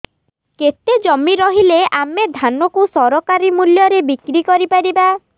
କେତେ ଜମି ରହିଲେ ଆମେ ଧାନ କୁ ସରକାରୀ ମୂଲ୍ଯରେ ବିକ୍ରି କରିପାରିବା